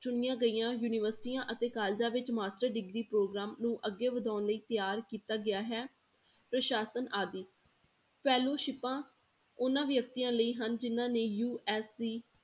ਚੁਣੀਆਂ ਗਈਆਂ ਯੂਨੀਵਰਸਟੀਆਂ ਅਤੇ colleges ਵਿੱਚ master degree ਪ੍ਰੋਗਰਾਮ ਨੂੰ ਅੱਗੇ ਵਧਾਉਣ ਲਈ ਤਿਆਰ ਕੀਤਾ ਗਿਆ ਹੈ ਪ੍ਰਸਾਸਨ ਆਦਿ, ਸਿਪਾਂ ਉਹਨਾਂ ਵਿਅਕਤੀਆਂ ਲਈ ਹਨ ਜਿੰਨਾਂ ਨੇ USC